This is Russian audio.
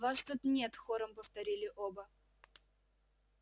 вас тут нет хором повторили оба